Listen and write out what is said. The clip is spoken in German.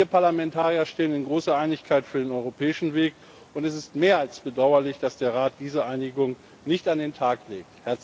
Wir Parlamentarier stehen in großer Einigkeit für den europäischen Weg, und es ist mehr als bedauerlich, dass der Rat diese Einigung nicht an den Tag legt!